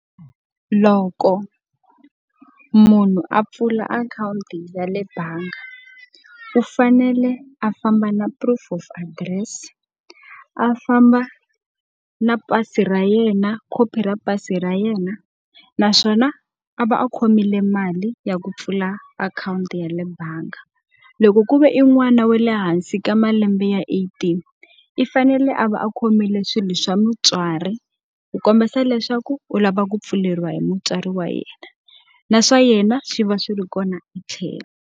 Loko munhu a pfula akhawunti ya le bangi, u fanele a famba na proof of address, a famba na pasi ra yena khopi ra pasi ra yena, naswona a va a khomile mali ya ku pfula akhawunti ya le bangi. Loko ku ve i n'wana wa le hansi ka mali lembe ya eighteen, i fanele a va a khomile swilo swa mutswari ku kombisa leswaku u lava ku pfuleriwa hi mutswari wa yena. Na swa yena swi va swi ri kona etlhelo.